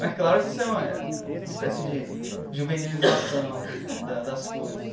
Mas claro que isso é uma época, uma espécie de juvenilização né das das coisas.